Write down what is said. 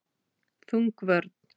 Þung vörn.